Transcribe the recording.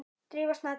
Drífa Snædal.